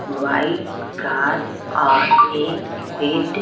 white कर और एक सफेद--